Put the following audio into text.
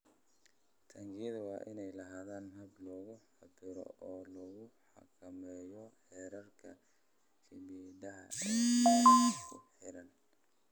Taangiyada waa inay lahaadaan habab lagu cabbiro oo lagu xakameeyo heerarka kiimikada ee meelaha ku xeeran.